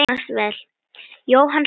Jóhann hló hátt.